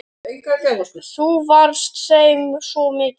Þú varst þeim svo mikið.